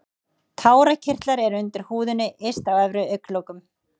Tárakirtlar eru undir húðinni yst á efri augnlokum.